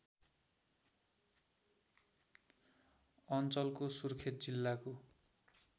अञ्चलको सुर्खेत जिल्लाको